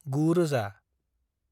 9000